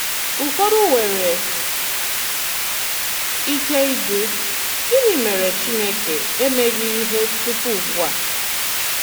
Ùfọdụ nwere ike ịjụ: ‘Gịnị mèré Chìnékè emeghị ihe tupu ùgbu a?’